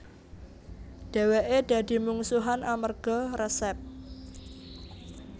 Dheweke dadi mungsuhan amerga resep